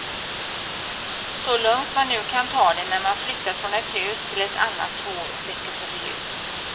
Så lugnt man nu kan ta det när man flyttat från ett hus till ett annat två veckor före jul.